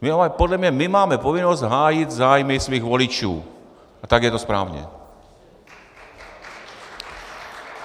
Podle mě my máme povinnost hájit zájmy svých voličů a tak je to správně!